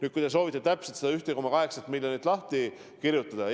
Te vist soovite täpselt seda 1,8 miljonit lahti kirjutada.